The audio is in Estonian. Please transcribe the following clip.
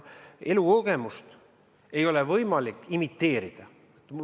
Elukogemust ei ole võimalik imiteerida.